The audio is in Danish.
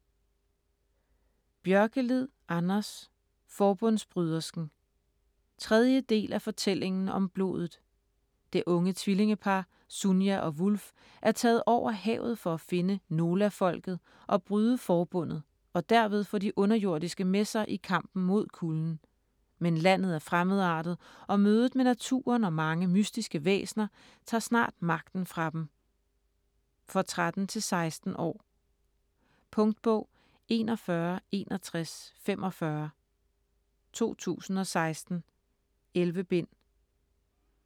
Björkelid, Anders: Forbundsbrydersken 3. del af Fortællingen om blodet. Det unge tvillingepar, Sunia og Wulf er taget over havet for at finde Nolafolket og bryde Forbundet og derved få de Underjordiske med sig i kampen mod Kulden. Men landet er fremmedartet, og mødet med naturen og mange mystiske væsener tager snart magten fra dem. For 13-16 år. Punktbog 416145 2016. 11 bind.